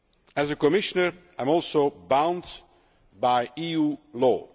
As a Commissioner I am also bound by EU law.